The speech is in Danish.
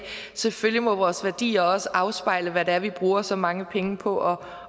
selvfølgelig må vores værdier også afspejle hvad det er vi bruger så mange penge på